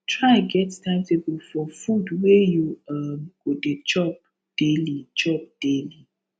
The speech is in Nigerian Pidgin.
try get timetable for fud wey yu um go dey chop daily chop daily